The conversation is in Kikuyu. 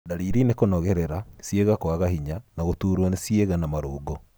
Ndariri nĩ kũnogerera, ciĩga kwaga hinya na gũturwo nĩ ciĩga na marũngo.